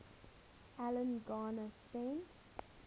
alan garner spent